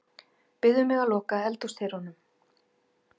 Biður mig að loka eldhúsdyrunum.